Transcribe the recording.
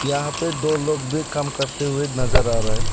यहां पे दो लोग भी काम करते हुए नजर आ रहा है।